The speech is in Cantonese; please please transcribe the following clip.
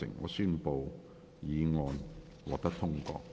我宣布議案獲得通過。